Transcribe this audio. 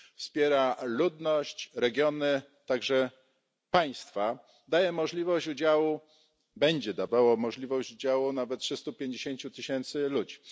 Wspiera ludność, regiony, także państwa, daje możliwość udziału będzie dawało możliwość udziału nawet trzystu pięćdziesięciu tysiącom ludzi.